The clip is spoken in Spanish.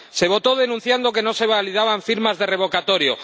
Se votó denunciando que no se validaban firmas de revocatorio.